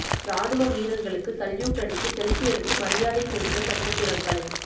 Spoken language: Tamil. ராணுவ வீரர்களுக்கு சல்யூட் அடித்து செல்பி எடுத்து மரியாதை செலுத்தும் நட்சத்திரங்கள்